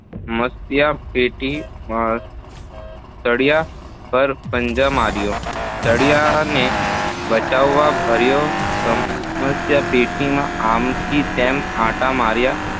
સમસ્યાપેટીના સળિયા પર પંજા માર્યા, સળિયાને બચકાં ભર્યા, સમસ્યાપેટીમાં આમ થી તેમ આંટા માર્યા